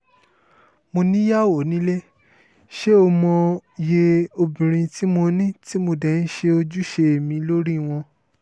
mo níyàwó nílé ṣé ó mòye obìnrin tí mo ní tí mo dé ń ṣe ojúṣe mi lórí wọn